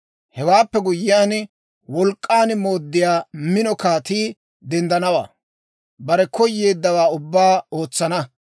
«Hewaappe guyyiyaan, wolk'k'an mooddiyaa mino kaatii denddanawaa; bare koyeeddawaa ubbaa ootsana.